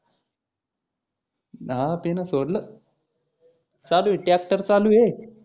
हा त्यानं सोडलं चालू आहे ट्रॅक्टर चालु आहे.